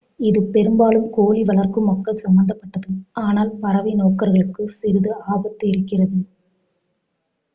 இது பெரும்பாலும் கோழி வளர்க்கும் மக்கள் சம்பந்தப்பட்டது ஆனால் பறவை நோக்கர்களுக்கும் சிறிது ஆபத்து இருக்கிறது